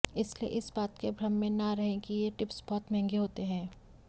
इसलिए इस बात के भ्रम में ना रहें कि ये टिप्स बहुत महंगे होते हैं